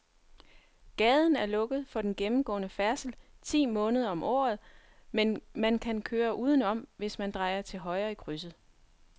Gaden er lukket for gennemgående færdsel ti måneder om året, men man kan køre udenom, hvis man drejer til højre i krydset.